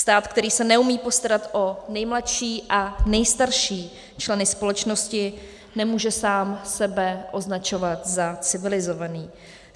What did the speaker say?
Stát, který se neumí postarat o nejmladší a nejstarší členy společnosti, nemůže sám sebe označovat za civilizovaný.